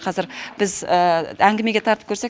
қазір біз әңгімеге тартып көрсек